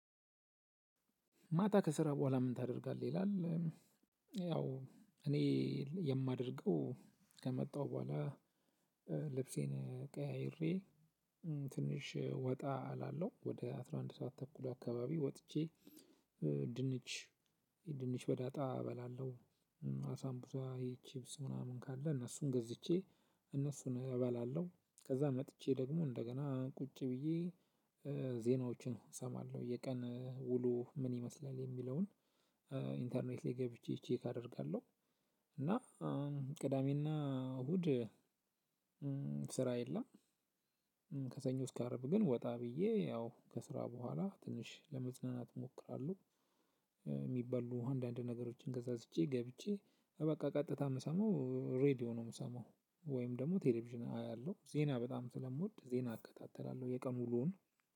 ማታ ከስራ በኋላ ምን ታደርጋለህ ይላል? ያው እኔ የማደርገው ከመጣሁ በኋላ ልብሴን ቀያይሪ ትንሽ ወጣ እላለው ወደ አስራ አንድ ሰዓት ተኩል አካባቢ ወጥቼ። ድንች ድንች በዳጣ እበላለሁ። አሳምቡሳ ይሀ ችብስ ምናምን ካለ እነሱን ገዝቼ እነሱን እበላለሁ። ከዛ መጥቼ ደግሞ እንደገና ቁጭ ብዬ። ዜናዎችን እሰማለሁ የቀን ውሎ ምን ይመስላል የሚለውን ኢንተርኔት ላይ ገብቼ ቼክ አደርጋለሁ። እና ቅዳሜና እሁድ ስራ የለም። ከሰኞ እስከ አረብ ግን ወጣ ብዬ ያው ከስራ በኋላ ትንሽ ለመዝናናት እሞክራለሁ። የሚበሉ አንዳንድ ነገሮችን ከዛዝቼ ገብቼ በቃ ቀጥታ የምሰማው ሬድዮ ነው የምሰማው ወይም ደግሞ ቴሌቪዥን አያለሁ። ዜና በጣም ስለምወድ ዜና እከታተላለሁ የቀኑ ሙሉውን